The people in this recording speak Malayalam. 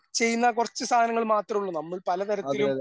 ചെയ്യുന്ന ആ കുറച്ച് സാധനങ്ങൾ മാത്രമേ ഉള്ളൂ നമ്മൾ പലതരത്തിലും